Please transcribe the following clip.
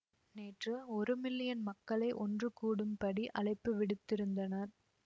நேற்று ஒரு மில்லியன் மக்களை ஒன்று கூடும் படி அழைப்பு விடுத்திருந்தனர்